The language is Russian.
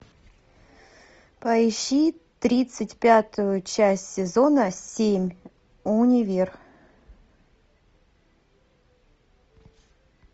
поищи тридцать пятую часть сезона семь универ